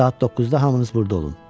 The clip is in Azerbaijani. Saat 9-da hamınız burada olun.